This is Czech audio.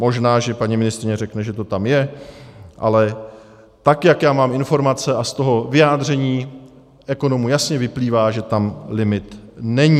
Možná, že paní ministryně řekne, že to tam je, ale tak jak já mám informace a z toho vyjádření ekonomů jasně vyplývá, že tam limit není.